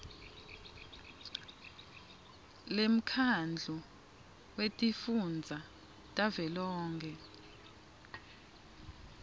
lemkhandlu wetifundza wavelonkhe